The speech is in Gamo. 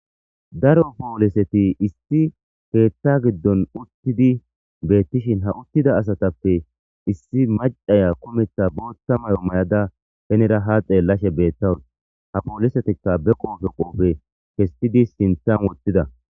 Daro pooliseti issi peetta giddon uttidi beettishin ha uttida asatappe issi maccaya kumetha bootta mayo may7ada penera ha xeellashe beettawun ha poolisetikka be qoofe qoofe kestidi sinthan wottida.